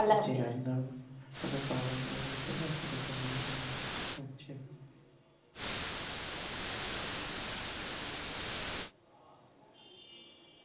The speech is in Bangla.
আপনার সাথে পরামর্শ নেওয়ার জন্য অসংখ্য ধন্যবাদ